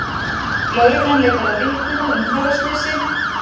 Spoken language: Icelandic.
Lögreglan leitar að vitnum að umferðarslysi